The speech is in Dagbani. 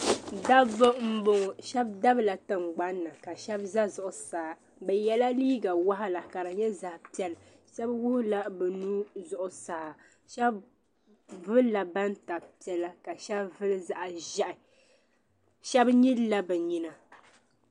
Dabba m.bɔŋɔ shɛba dabla tiŋgbani ka shɛba za zuɣusaa bɛ yɛla liiga waɣila ka di nyɛ zaɣi piɛlla shɛba wuɣi la bɛ nuhi zuɣusaa shɛba vulila batab piɛlla ka shɛba zuli zaɣi ʒeehi shɛba nyilila bɛ nyina.